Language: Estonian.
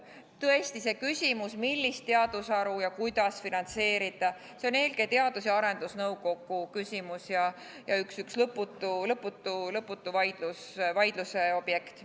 Tõesti, see küsimus, millist teadusharu ja kuidas finantseerida, on eelkõige Teadus- ja Arendusnõukogu küsimus ning üks lõputu vaidluse objekt.